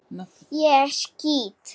Ég skýt!